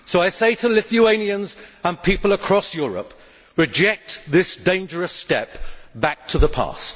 So I say to Lithuanians and people across Europe reject this dangerous step back to the past.